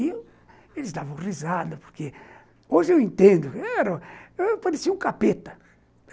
E eles davam risada porque, hoje eu entendo, eu parecia um capeta.